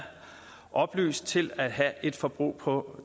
oplyst til at have et forbrug på